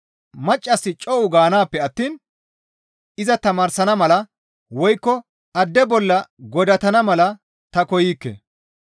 Maccassi co7u gaanaappe attiin iza tamaarsana mala woykko adde bolla godatana mala ta koykke.